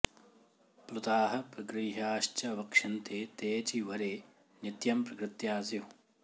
प्लुताः प्रगृह्याश्च वक्ष्यन्ते तेऽचि वरे नित्यं प्रकृत्या स्युः